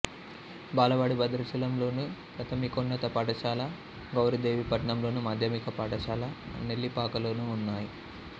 బాలబడి భద్రాచలంలోను ప్రాథమికోన్నత పాఠశాల గౌరిదేవిపట్నంలోను మాధ్యమిక పాఠశాల నెల్లిపాకలోనూ ఉన్నాయి